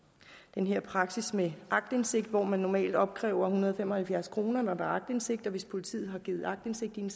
den her praksis med aktindsigt hvor man normalt opkræver en hundrede og fem og halvfjerds kroner for aktindsigt hvis politiet har givet aktindsigt i